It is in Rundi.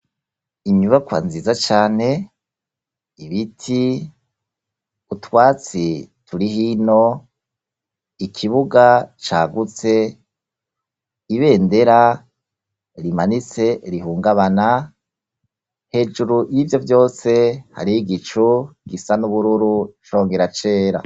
Inyubakwa nziza cyane ibiti utwatsi turi hino ikibuga cyagutse, ibendera rimanitse rihungabana, hejuru y'ibyo byose hario igicu gisa n'ubururu congera cera.